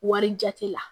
Wari jate la